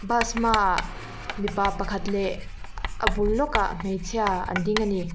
bus hmaah mipa pakhat leh a bul lawkah hmeichhia an ding ani.